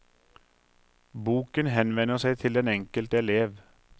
Boken henvender seg til den enkelte elev.